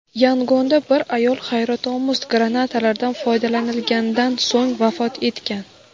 Yangonda bir ayol hayratomuz granatalardan foydalanilgandan so‘ng vafot etgan.